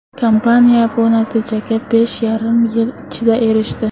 Kompaniya bu natijaga besh yarim yil ichida erishdi.